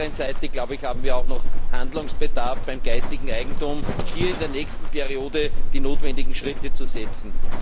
Auf der anderen Seite haben wir noch Handlungsbedarf beim geistigen Eigentum, um in der nächsten Wahlperiode die notwendigen Schritte zu setzen.